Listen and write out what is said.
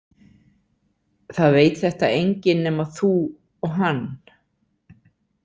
Það veit þetta enginn nema þú og hann